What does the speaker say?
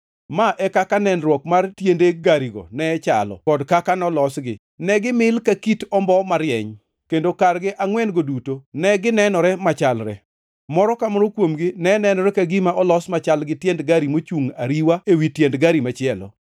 Ma e kaka nenruok mar tiende garigo ne chalo kod kaka nolosgi. Ne gimil ka kit ombo marieny, kendo kargi angʼwen-go duto ne ginenore machalre. Moro ka moro kuomgi ne nenore ka gima olos machal gi tiend gari mochungʼ ariwa ewi tiend gari machielo.